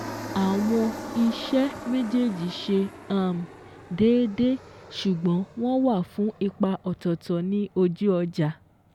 Àwọn iṣẹ́ méjèèjì ṣe um déédé ṣùgbọ́n wọ́n wà fún ipa ọ̀tọ̀ọ̀tọ̀ ní ojú ọjà.